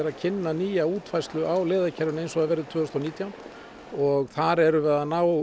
að kynna nýja útfærslu á leiðakerfinu eins og það verður tvö þúsund og nítján og þar erum við að ná